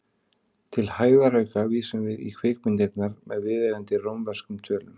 Til hægðarauka vísum við í kvikmyndirnar með viðeigandi rómverskum tölum.